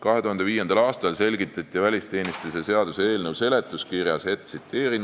2005. aastal selgitati välisteenistuse seaduse eelnõu seletuskirjas: "...